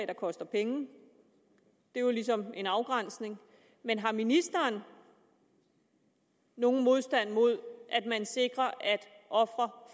der koster penge det er jo ligesom en afgrænsning men har ministeren nogen modstand mod at man sikrer at ofre